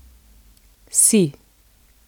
Si.